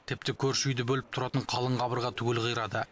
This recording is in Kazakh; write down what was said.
тіпті көрші үйді бөліп тұратын қалың қабырға түгел қирады